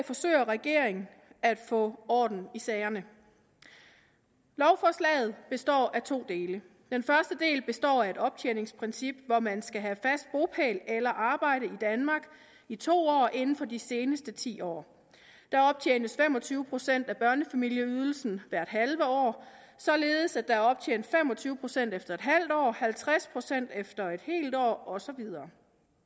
forsøger regeringen at få orden i sagerne lovforslaget består af to dele den første del består af et optjeningsprincip hvor man skal have fast bopæl eller arbejde i danmark i to år inden for de seneste ti år der optjenes fem og tyve procent af børnefamilieydelsen hvert halve år således at der er optjent fem og tyve procent efter en halv år halvtreds procent efter en helt år og så videre